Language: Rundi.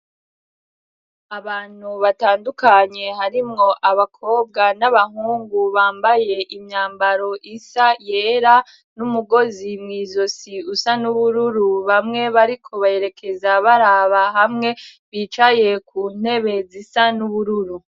Abantu batandukanye harimwo abakobwa n'abahungu bambaye imyambaro isa, yera n'umugozi mw'izosi usa n'ubururu bamwe bariko berekeza baraba hamwe bicaye ku ntebe zisa n'ubururu.